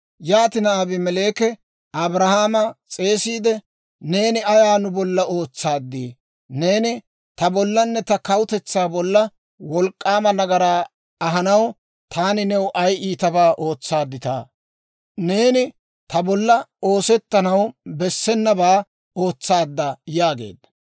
Yaatina Abimeleeki Abrahaama s'eesiide, «Neeni ayaa nu bolla ootsaaddii? Neeni ta bollanne ta kawutetsaa bolla wolk'k'aama nagaraa ahanaw taani new ay iitabaa ootsaadditaa? Neeni ta bolla oosetanaw bessenabaa ootsaadda» yaageedda.